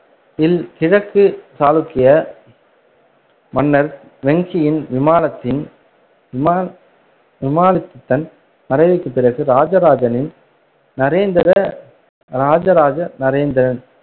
இல் கிழக்கு சாளுக்கிய மன்னர் வெங்கியின் விமாலத்தின் விமா~ விமாலத்திதன் மறைவுக்குப் பிறகு ராஜராஜனின் நரேந்திர ராஜராஜ நரேந்திரன்